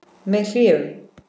Með hléum.